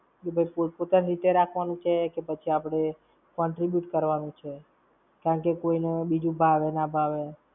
કે ભૈ પોત-પોતાની રીતે રાખવાનું છે કે આપણે contribute કરવાનું છે? કારણકે કોઈ ને બીજું ભાવે ના ભાવે.